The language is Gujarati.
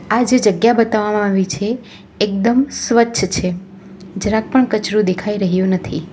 આજે જે જગ્યા બતાવવામાં આવી છે એકદમ સ્વચ્છ છે જરાક પણ કચરો દેખાઈ રહ્યો નથી.